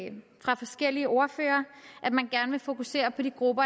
forskellige ordførere at man gerne vil fokusere på de grupper